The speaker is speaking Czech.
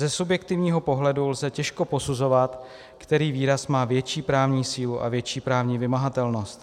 Ze subjektivního pohledu lze těžko posuzovat, který výraz má větší právní sílu a větší právní vymahatelnost.